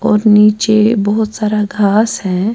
.اور نیچے بہت سارا گااس ہیں